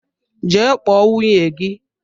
Jee kpọọ nwunye gị!